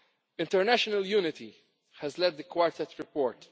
International unity has led the Quartet's report.